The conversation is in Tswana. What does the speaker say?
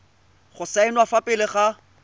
go saenwa fa pele ga